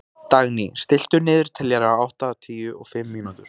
Dagný, stilltu niðurteljara á áttatíu og fimm mínútur.